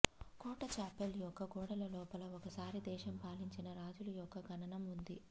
కోట chapel యొక్క గోడల లోపల ఒకసారి దేశం పాలించిన రాజులు యొక్క ఖననం ఉంది